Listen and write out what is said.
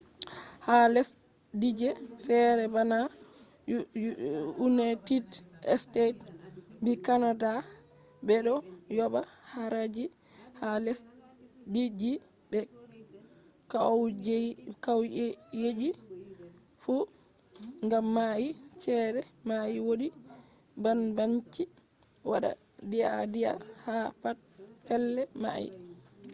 ha lesdije fere bana united states be canada be do yoba haraji ha lesdiji be kwauyeji fu gam mai chede mai wodi banbanci wada deadea ha pat pellei mai